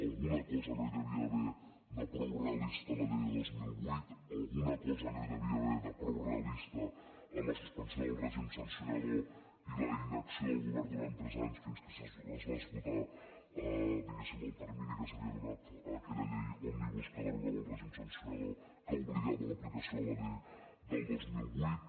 alguna cosa no hi devia haver de prou realista en la llei de dos mil vuit alguna cosa no hi de·via haver de prou realista en la suspensió del règim sancionador i la inacció del govern durant tres anys fins que es fa esgotar diguéssim el termini que s’ha·via donat a aquella llei òmnibus que derogava el rè·gim sancionador que obligava a l’aplicació de la llei del dos mil vuit